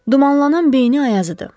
Dumanlanan beyni ayazıdı.